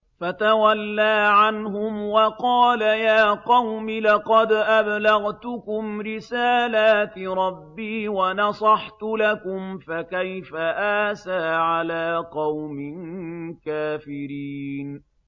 فَتَوَلَّىٰ عَنْهُمْ وَقَالَ يَا قَوْمِ لَقَدْ أَبْلَغْتُكُمْ رِسَالَاتِ رَبِّي وَنَصَحْتُ لَكُمْ ۖ فَكَيْفَ آسَىٰ عَلَىٰ قَوْمٍ كَافِرِينَ